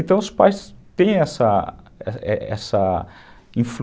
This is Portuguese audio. Então os pais têm essa essa influ